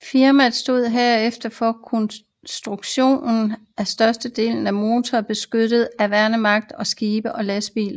Firmaet stod herefter for konstruktionen af størstedelen af motorerne benyttet af Værnemagtens skibe og lastbiler